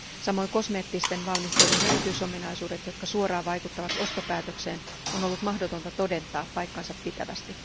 Samoin kosmeettisten valmisteiden erityisominaisuuksia, jotka suoraan vaikuttavat ostopäätökseen, on ollut mahdotonta todentaa paikkansa pitävästi.